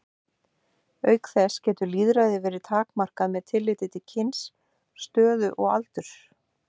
Auk þess getur lýðræði verið takmarkað með tilliti til kyns, stöðu og aldurs.